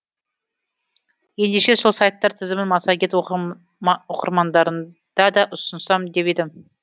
ендеше сол сайттар тізімін массагет оқырмандарында да ұсынсам деп едім